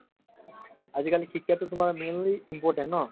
আজিকালি শিক্ষাতো তোমাৰ mainly important ন